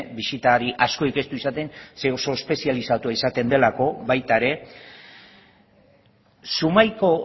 bisitari asko ez du izaten zeren eta oso espezializatua izaten delako baita ere zumaiako